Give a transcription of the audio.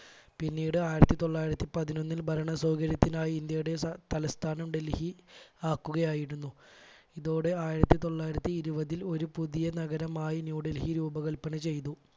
പിന്നീട് ആയിരത്തി തൊള്ളായിരത്തി പതിനൊന്നിൽ ഭരണ സൗകര്യത്തിനായി ഇന്ത്യയുടെ ത തലസ്ഥാനം ഡൽഹി ആക്കുക ആയിരുന്നു, ഇതോടെ ആയിരത്തി തൊള്ളായിരത്തി ഇരുപതിൽ ഒരു പുതിയ നഗരമായി ന്യൂഡൽഹി രൂപകൽപ്പന ചെയ്തു.